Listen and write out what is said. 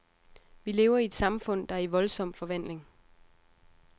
Vi lever i et samfund, der er i voldsom forvandling.